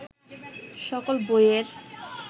সকল বইয়ের